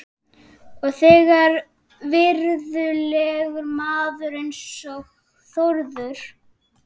Og þegar virðulegur maður eins og Þórður